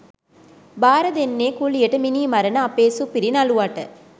බාර දෙන්නේ කුලියට මිනි මරණ අපේ සුපිරි නළුවට